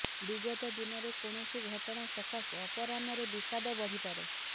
ବିଗତ ଦିନର କୌଣସି ଘଟଣା ସକାଶେ ଅପରାହ୍ନରେ ବିଷାଦ ବଢିପାରେ